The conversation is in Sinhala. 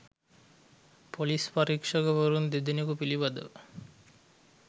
පොලිස් පරීක්ෂකවරුන් දෙදෙනෙකු පිළිබඳව